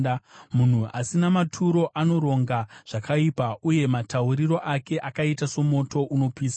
Munhu asina maturo anoronga zvakaipa, uye matauriro ake akaita somoto unopisa.